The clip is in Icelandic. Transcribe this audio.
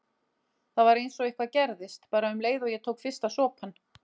Það var einsog eitthvað gerðist, bara um leið og ég tók fyrsta sopann.